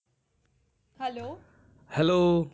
hello